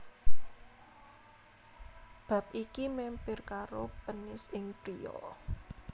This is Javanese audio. Bab iki mèmper karo penis ing pria